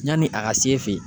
Yanni a ka se fe yen